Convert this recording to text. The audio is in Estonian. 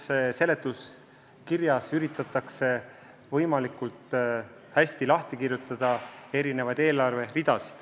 Eelnõu seletuskirjas üritatakse eelarve ridasid võimalikult hästi lahti kirjutada.